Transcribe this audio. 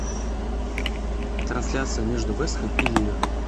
трансляция между вест хэм и ливер